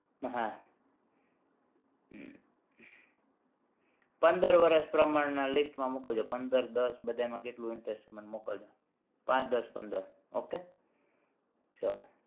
હા પંદર વરસ પ્રમાણના list માં મોકલજો પંદર દસ બધાયમાં કેટલું interest છે મને મોકલજો પાંચ દસ પંદર okay ચલો